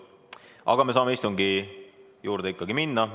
Aga me saame ikkagi istungi juurde minna.